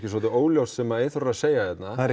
svolítið óljóst sem Eyþór er að segja hérna